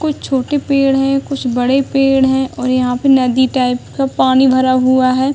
कुछ छोटे पेड़ है कुछ बड़े पेड़ है और यहाँ पे नदी टाइप का पानी भरा हुआ है।